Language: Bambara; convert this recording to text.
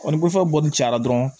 Ɔ ni koforo bɔli cayara dɔrɔn